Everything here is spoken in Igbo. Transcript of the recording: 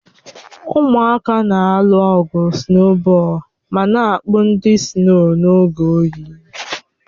Ụmụaka na-alụ ọgụ sụnobọol ma na-akpụ ndị sino n'oge oyi